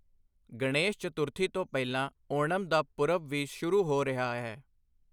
ਗਣੇਸ਼ ਚਤੁਰਥੀ ਤੋਂ ਪਹਿਲਾਂ ਓਣਮ ਦਾ ਪੁਰਬ ਵੀ ਸ਼ੁਰੂ ਹੋ ਰਿਹਾ ਹੈ।